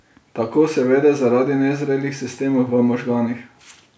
Tako se vede zaradi nezrelih sistemov v možganih.